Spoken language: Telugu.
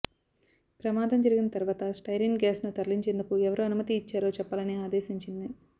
ప్రమాదం జరిగిన తర్వాత స్టైరిన్ గ్యాస్ను తరలించేందుకు ఎవరు అనుమతి ఇచ్చారో చెప్పాలని ఆదేశించింది